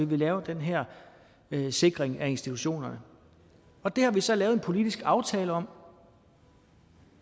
vi lave den her sikring af institutionerne og det har vi så lavet en politisk aftale om